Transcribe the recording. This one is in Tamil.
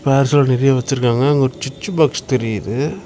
பசோ நெறைய வெச்சுருக்காங்க அங்க ஒரு சுச்சு பாக்ஸ் தெரியுது.